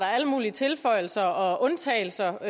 alle mulige tilføjelser og undtagelser